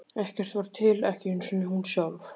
Ekkert var til, ekki einu sinni hún sjálf.